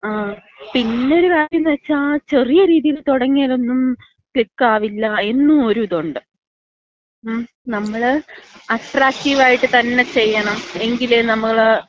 ങ്ങാ, പിന്നൊരു കാര്യംന്ന് വച്ചാ, ചെറിയ രീതിയില് തുടങ്ങിയാലൊന്നും ക്ലിക്കാവില്ല എന്നും ഒരു ഇതൊണ്ട്. മ്മ്? നമ്മള് അട്രാക്റ്റീവായിട്ട് തന്നെ ചെയ്യണം. എങ്കിലെ നമ്മള്...